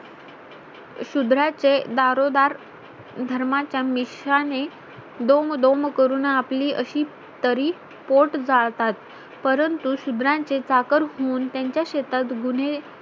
शुद्राचे दारोदार धर्माच्या मिश्रा ने दोम दोम करून आपली अशी तरी पोट जाळतात परंतु शुद्राचे चाकर होऊन त्यांच्या शेतात गुन्हे